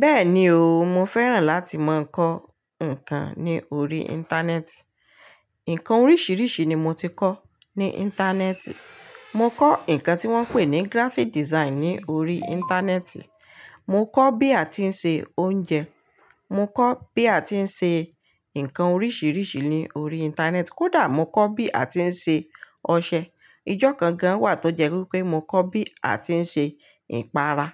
Bẹ́ẹ̀ni o, mo fẹ́ràn láti máa ń kọ́ nǹkan ní orí Íńtánẹ́ẹ̀tì. Nǹkan oríṣiríṣi ni mo ti kọ́ ní Íńtánẹ́ẹ̀tì. Mo kọ́ nǹkan tí wọ́n ń pè ní graphic design ní oríi Íńtánẹ́ẹ̀tì. Mo kọ́ bí a ti ń se oúnjẹ. Mo kọ́ bí a ti ń ṣe ǹkan oríṣìíríṣìí ní orí Íńtánẹ́ẹ̀tì. Kódà mo kọ́ bí a ti ń ṣe ọṣẹ. Ijọ́ kan gan wà tó jẹ́ wípé mo kọ́ bí a ti ń ṣe ìpara.